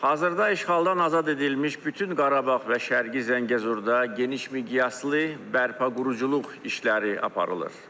Hazırda işğaldan azad edilmiş bütün Qarabağ və Şərqi Zəngəzurda geniş miqyaslı bərpa-quruculuq işləri aparılır.